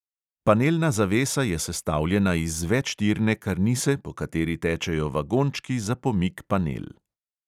Panelna zavesa je sestavljena iz večtirne karnise, po kateri tečejo vagončki za pomik panel.